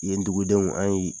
Yen dugudenw an ye